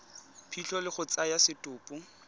phitlho le go tsaya setopo